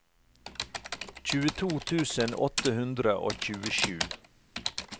tjueto tusen åtte hundre og tjuesju